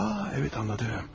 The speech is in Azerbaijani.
Aa, bəli anladım.